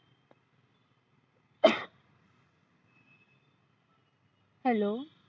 hello